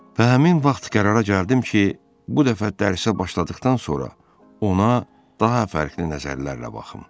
Və həmin vaxt qərara gəldim ki, bu dəfə dərsə başladıqdan sonra ona daha fərqli nəzərlərlə baxım.